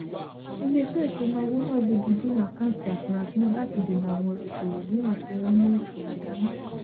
iléeṣẹ ìṣúnáowó náà gbégidínà àkántì afurasí náà láti dènà àwọn ìṣòwò míràn tí wọn mú ìfura dání